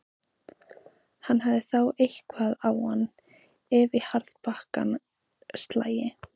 Hann hefði þá eitthvað á hann, ef í harðbakkann slægi.